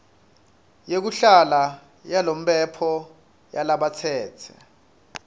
yekuhlala yalomphelo yalabatsetse